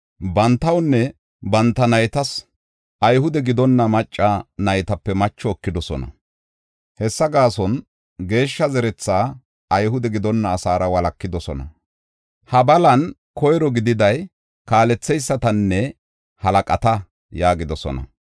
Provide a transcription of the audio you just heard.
Bantawunne banta naytas Ayhude gidonna macca naytape macho ekidosona; hessa gaason geeshsha zeretha Ayhude gidonna asaara walakidosona. Ha balan koyro gididay kaaletheysatanne halaqata” yaagidosona.